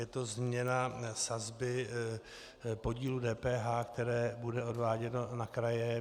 Je to změna sazby podílu DPH, které bude odváděno na kraje.